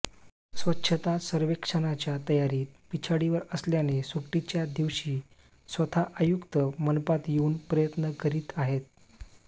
स्वच्छता सर्वेक्षणाच्या तयारीत पिछाडीवर असल्याने सुट्टीच्या दिवशी स्वतः आयुक्त मनपात येवून प्रयत्न करीत आहेत